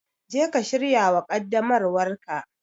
Je ka shirya wa ƙaddamarwar ka.